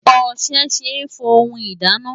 Ọṣẹ ṣe é fọ ohun ìdáná.